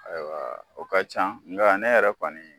Ayiwa o ka can nka ne yɛrɛ kɔni